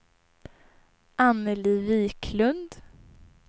Annelie Viklund